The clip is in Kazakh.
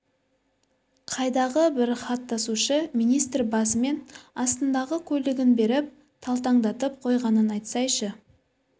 қайдағы бір хат тасушы министр басымен астындағы көлігін беріп талтаңдатып қойғанын айтсайшы